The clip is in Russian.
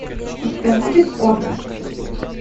у тебя будет окись